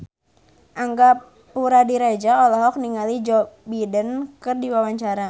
Angga Puradiredja olohok ningali Joe Biden keur diwawancara